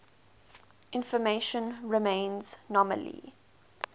information remains nominally